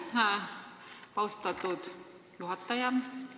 Aitäh, austatud juhataja!